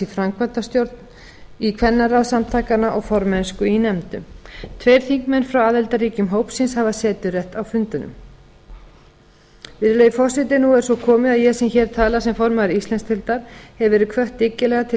framkvæmdastjórn í kvennaráð samtakanna og formennsku í nefndum tveir þingmenn frá aðildarríkjum hópsins hafa seturétt á fundunum virðulegi forseti nú er svo komið að ég sem hér tala sem formaður íslandsdeildar hef verið hvött dyggilega til